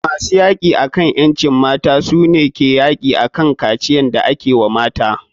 Masu yaki akan ƴancin mata su ne yaki akan kaciyan da ake wa mata.